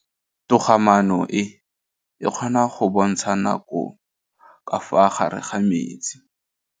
Toga-maanô e, e kgona go bontsha nakô ka fa gare ga metsi.